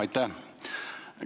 Aitäh!